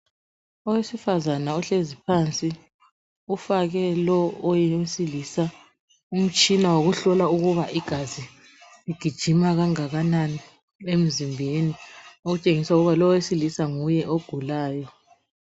Owesifazana ohlezi phansi ufake lo owesilisa umtshina wokuhlola ukuba igazi ligijima kangakanani emzimbeni. Okutshengisa ukuba lo owesilisa nguye ogulayo.